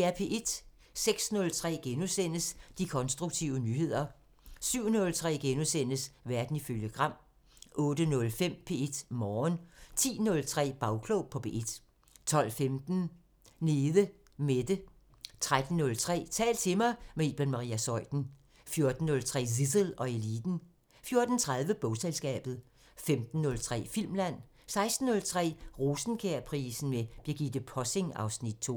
06:03: De konstruktive nyheder * 07:03: Verden ifølge Gram * 08:05: P1 Morgen 10:03: Bagklog på P1 12:15: Nede Mette 13:03: Tal til mig – med Iben Maria Zeuthen 14:03: Zissel og Eliten 14:30: Bogselskabet 15:03: Filmland 16:03: Rosenkjærprisen med Birgitte Possing (Afs. 2)